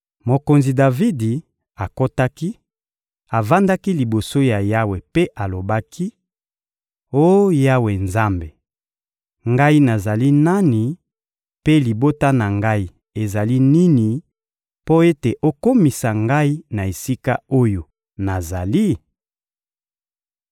Mokonzi Davidi akotaki, avandaki liboso ya Yawe mpe alobaki: «Oh Yawe Nzambe, ngai nazali nani, mpe libota na ngai ezali nini, mpo ete okomisa ngai na esika oyo nazali?